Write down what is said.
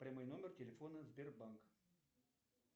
прямой номер телефона сбербанк